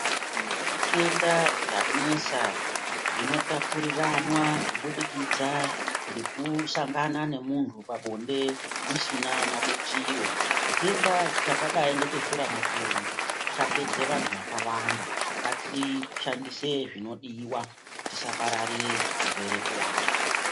Kune zvitenda zvanesa zvinotapuriranwa kibudikidza ngekusangana nemuntu pabonde musina mabutiro. Chitenda chakadai ngecheshuramatongo chapedza vantu vakawanda. Ngatishandise zvinodiwa tisapararire chirwere kuvantu.